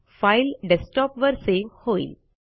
file डेस्कटॉपवर save होईल